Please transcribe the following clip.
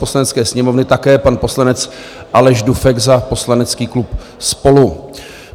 Poslanecké sněmovny také pan poslanec Aleš Dufek za poslanecký klub SPOLU.